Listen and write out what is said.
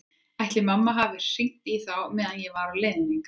Ætla mætti að mamma hefði hringt í þá meðan ég var á leiðinni hingað.